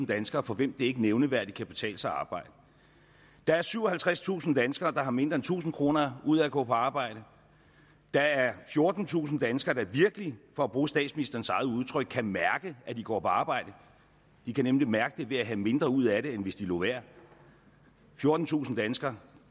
danskere for hvem det ikke nævneværdigt kan betale sig at arbejde der er syvoghalvtredstusind danskere der har mindre end tusind kroner ud af at gå på arbejde der er fjortentusind danskere der virkelig for at bruge statsministerens eget udtryk kan mærke at de går på arbejde de kan nemlig mærke det ved at have mindre ud af det end hvis de lod være fjortentusind danskere